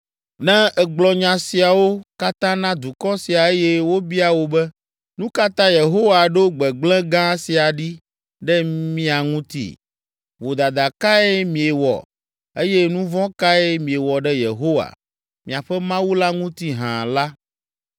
“Ne ègblɔ nya siawo katã na dukɔ sia eye wobia wò be, ‘Nu ka ta Yehowa ɖo gbegblẽ gã sia ɖi ɖe mia ŋuti? Vodada kae miewɔ eye nu vɔ̃ kae miewɔ ɖe Yehowa, miaƒe Mawu la ŋuti hã?’ la,